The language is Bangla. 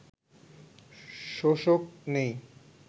শোষক নেই